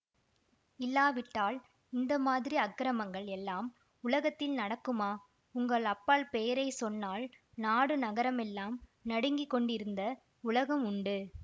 இல்லாவிட்டால் இந்த மாதிரி அக்கிரமங்கள் எல்லாம் உலகத்தில் நடக்குமா உங்கள் அப்பால் பெயரை சொன்னால் நாடு நகரமெல்லாம் நடுங்கிக் கொண்டிருந்த உலகம் உண்டு